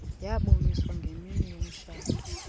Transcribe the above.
yaboniswa ngemini yomtshato